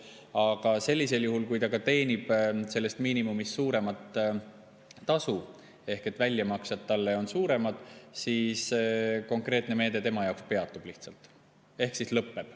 Aga sellisel juhul, kui ta teenib sellest miinimumist suuremat tasu ehk väljamaksed talle on suuremad, siis konkreetne meede tema jaoks lihtsalt peatub ehk lõpeb.